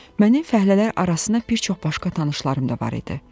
Mənim fəhlələr arasına bir çox başqa tanışlarım da var idi.